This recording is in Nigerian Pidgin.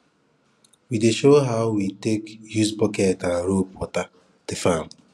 we dey show how we take use bucket and rope water the farm